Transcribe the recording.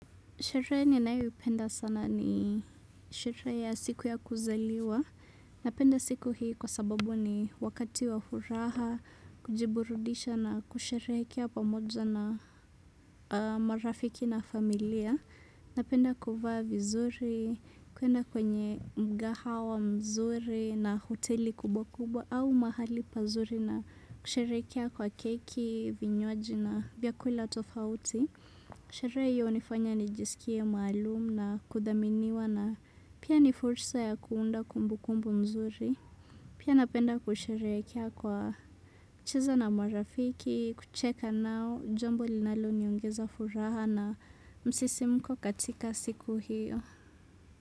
Sherehe ninayoipenda sana ni sherehe ya siku ya kuzaliwa. Napenda siku hii kwa sababu ni wakati wa furaha, kujiburudisha na kusherehekea pamoja na marafiki na familia. Napenda kuvaa vizuri, kuenda kwenye mgaha huwa mzuri na hoteli kubwa kubwa au mahali pazuri na kusherehekea kwa keki, vinywaji na vyakula tofauti. Sherehe hiyo hunifanya nijisikie maalum na kudhaminiwa na pia ni fulsa ya kuunda kumbu kumbu nzuri. Pia napenda kusherehekea kwa kucheza na marafiki, kucheka nao, jambo linalo niongeza furaha na msisimko katika siku hiyo.